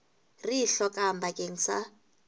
re e hlokang bakeng sa